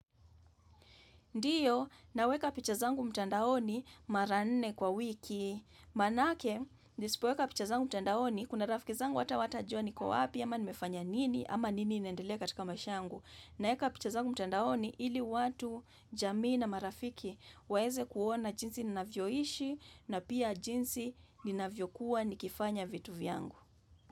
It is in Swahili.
Ndiyo, naweka picha zangu mtandaoni mara nne kwa wiki, manake, nisipoweka picha zangu mtandaoni, kuna rafiki zangu hata hawatajua ni kwa wapi, ama nimefanya nini, ama nini inaendelea katika maisha yangu. Naweka picha zangu mtandaoni, ili watu, jamii na marafiki, waeze kuona jinsi ninavyoishi, na pia jinsi ninavyo kuwa nikifanya vitu vyangu.